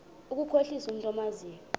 ukukhohlisa umntu omazi